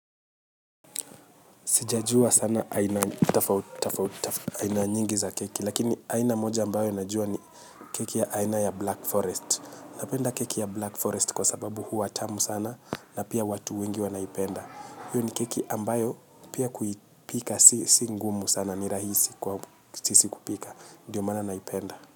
Sijajua sana aina nyingi za keki, lakini aina moja ambayo najua ni keki ya aina ya Black Forest. Napenda keki ya Black Forest kwa sababu huwa tamu sana na pia watu wengi wanaipenda. Hiyo ni keki ambayo pia kuipika si ngumu sana ni rahisi kwa sisi kupika. Ndiyo maana naipenda.